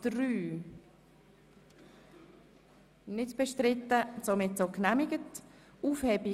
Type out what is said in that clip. Ich wollte zuerst den angefangenen Themenblock abschliessen.